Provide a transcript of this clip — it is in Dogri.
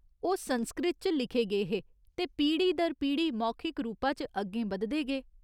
ओह् संस्कृत च लिखे गे हे ते पीढ़ी दर पीढ़ी मौखिक रूपा च अग्गें बधदे गे।